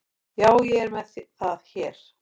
Já, ég er með það hér.